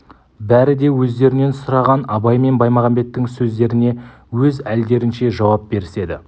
бәрі де өздерінен сұраған абай мен баймағамбеттің сөздеріне өз әлдерінше жауап беріседі